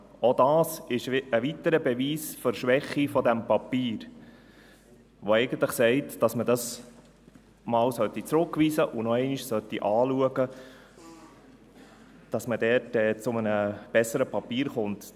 Dies ist ein weiterer Beweis für die Schwäche dieses Papiers, der eigentlich besagt, dass man es zurückweisen und noch einmal anschauen sollte, damit man zu einem besseren Papier kommt.